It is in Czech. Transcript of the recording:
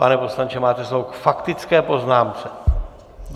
Pane poslanče, máte slovo k faktické poznámce.